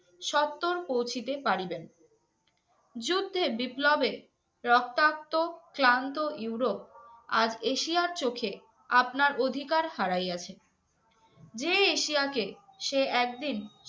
সত্ত্বর পৌঁছিতে পারিবেন। যুদ্ধে, বিপ্লবে- রক্তাক্ত, ক্লান্ত ইউরোপ আজ এশিয়ার চোখে আপনার অধিকার হারাইয়াছে, যে এশিয়াকে সে একদিন